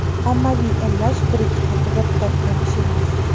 Ommaviy emlash bir-ikki haftada bitadigan ish emas”.